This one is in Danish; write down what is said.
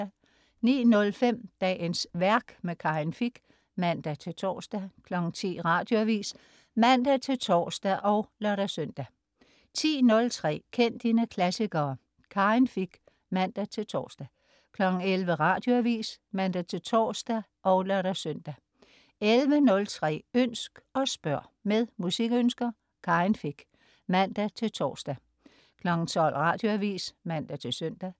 09.05 Dagens værk. Karin Fich (man-tors) 10.00 Radioavis (man-tors og lør-søn) 10.03 Kend dine klassikere. Karin Fich (man-tors) 11.00 Radioavis (man-tors og lør-søn) 11.03 Ønsk og spørg. Med musikønsker. Karin Fich (man-tors) 12.00 Radioavis (man-søn)